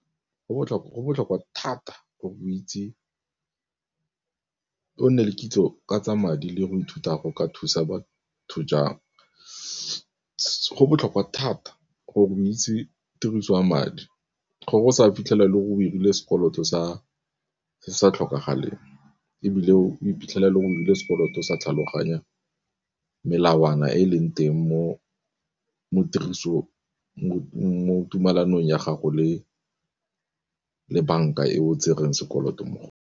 Go botlhokwa thata gore o itse, o nne le kitso ka tsa madi le go ithuta go ka thusa batho jang. Go botlhokwa thata gore o itse tiriso ya madi gore o sa fitlhela e le go dirile sekoloto Se sa tlhokagaleng, ebile o iphitlhelela o dirile sekoloto sa tlhaloganya melawana e e leng teng mo tirisong mo tumalanong ya gago le banka e o tsereng sekoloto mo .